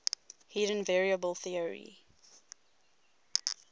hidden variable theory